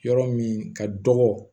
Yɔrɔ min ka dɔgɔ